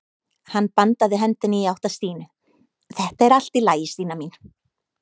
Hann bandaði hendinni í átt að Stínu: Þetta er allt í lagi Stína mín.